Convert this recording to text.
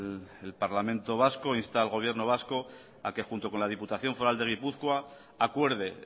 el parlamento vasco insta al gobierno vasco a que junto con la diputación foral de gipuzkoa acuerde